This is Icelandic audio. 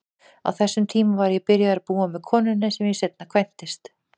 Á þessum tíma var ég byrjaður að búa með konunni sem ég seinna kvæntist.